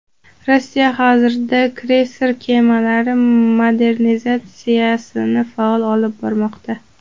Rossiya hozirda kreyser kemalari modernizatsiyasini faol olib bormoqda.